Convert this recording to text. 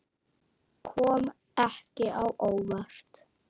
Kom ekki á óvart.